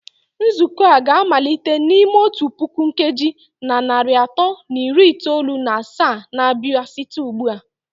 Nzukọ a ga-amalite n'ime otu puku nkeji na narị atọ na iri itoolu na asaa na-abịa site ugbu a.